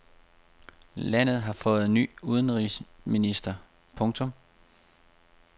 Landet har fået ny udenrigsminister. punktum